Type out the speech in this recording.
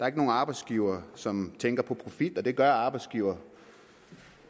er nogen arbejdsgivere som tænker på profit og det gør arbejdsgivere